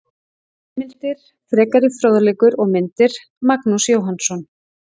Heimildir, frekari fróðleikur og myndir: Magnús Jóhannsson.